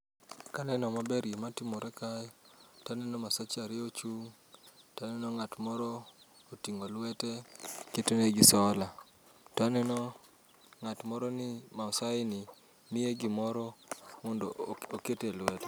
Ka aneno maber gima timore kae, to aneno maseche ariyo ochung', to aneno ng'at moro oting'o lwete ketone gi sola. To aneno ng'at moro ni Maasai ni miye gimoro ni mondo oket elwete.